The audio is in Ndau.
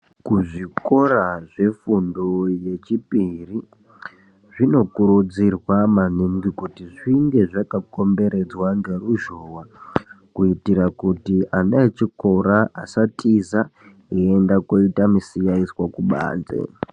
Kuzvikora zvefundo yechipiri zvinokuridzirwa maningi kuti zvinge zvakakomberedzwa ngeruzhowa, kuitira kuti ana echikora asatiza eienda kuita misiyaiswa kubanze .